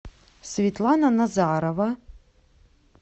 светлана назарова